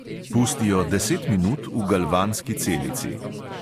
Pusti jo deset minut v galvanski celici.